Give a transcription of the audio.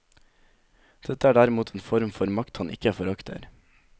Dette er derimot en form for makt han ikke forakter.